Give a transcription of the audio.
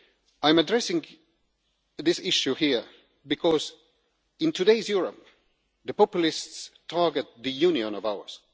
I am addressing this issue here because in today's Europe, the populists target this Union of ours.